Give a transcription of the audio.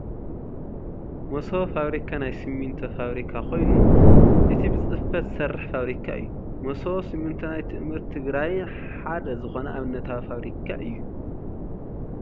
መሰቦ ፋብሪካ ናይ ስሚንቶ ፋብሪካ ኮይኑ እቲ ብፅፈት ዝሰርሕ ፋብሪካ እዩ። መሶቦ ስሚንቶ ናይ ትእምርት ትግራይ ሓደ ዝኮነ ኣብነታዊ ፋብሪካ እዩ።